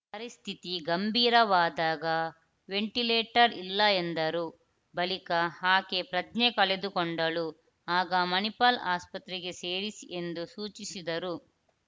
ಪರಿಸ್ಥಿತಿ ಗಂಭೀರವಾದಾಗ ವೆಂಟಿಲೇಟರ್‌ ಇಲ್ಲ ಎಂದರು ಬಳಿಕ ಆಕೆ ಪ್ರಜ್ಞೆ ಕಳೆದುಕೊಂಡಳು ಆಗ ಮಣಿಪಾಲ್‌ ಆಸ್ಪತ್ರೆಗೆ ಸೇರಿಸಿ ಎಂದು ಸೂಚಿಸಿದರು